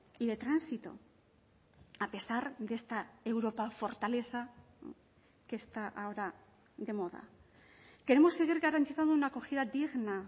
y de tránsito a pesar de esta europa fortaleza que está ahora de moda queremos seguir garantizando una acogida digna